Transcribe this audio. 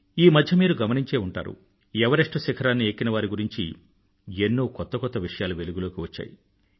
ఈమధ్య మీరు గమనించే ఉంటారు ఎవరెస్టు శిఖరాన్ని ఎక్కినవారి గురించి ఎన్నో కొత్త కొత్త విషయాలు వెలుగులోకి వచ్చాయి